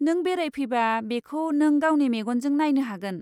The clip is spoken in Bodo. नों बेरायफैबा बेखौ नों गावनि मेगनजों नायनो हागोन।